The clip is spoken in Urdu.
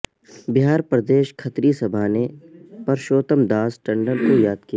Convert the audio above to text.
بہار پر دیش کھتری سبھا نے پر شو تم داس ٹنڈن کو یا د کیا